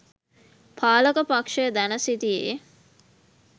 පාලක පක්‍ෂය දැන සිටියේ